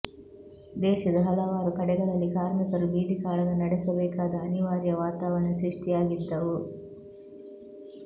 ದೇಶದ ಹಲವಾರು ಕಡೆಗಳಲ್ಲಿ ಕಾರ್ಮಿಕರು ಬೀದಿ ಕಾಳಗ ನಡೆಸಬೇಕಾದ ಅನಿವಾರ್ಯ ವಾತಾವರಣ ಸೃಷ್ಟಿಯಾಗಿದ್ದವು